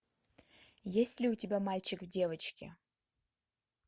есть ли у тебя мальчик в девочке